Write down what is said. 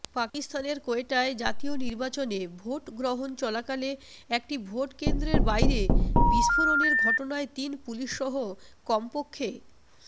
পাকিস্তানের কোয়েটায় জাতীয় নির্বাচনে ভোটগ্রহণ চলাকালে একটি ভোটকেন্দ্রের বাইরে বিস্ফোরণের ঘটনায় তিন পুলিশসহ কমপক